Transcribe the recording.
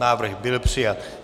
Návrh byl přijat.